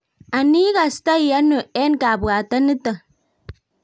anii ikastai ano en kabwatet niton